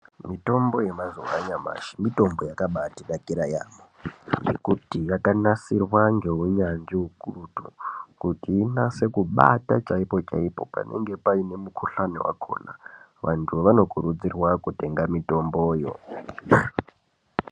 Mitombo yemazuwa anyamashi mitombo yakabatinakira yaamho ngekuti yakanasirwa ngeunyanzvi ukurutu kuti inase kubata chaipo- chaipo panenge pane mukhuhlani wakhona. Vantu vanokurudzirwa kutenga mitomboyo.